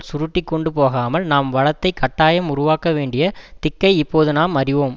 சுருட்டி கொண்டுபோகாமல் நாம் வளத்தை கட்டாயம் உருவாக்க வேண்டிய திக்கை இப்போது நாம் அறிவோம்